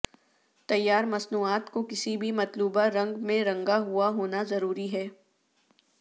تیار مصنوعات کو کسی بھی مطلوبہ رنگ میں رنگا ہوا ہونا ضروری ہے